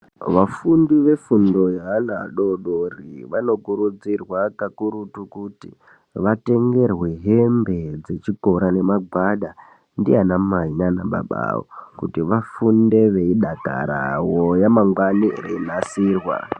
Vafundo vefundo yeana adodori vanokurudzirwa kukurutu kuti vatengerwe hembe dzechikora nemagwada ndiana mai nana baba avo kuti vafunde veidakarawo ramangwani reinasirwa